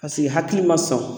Paseke hakili ma sɔn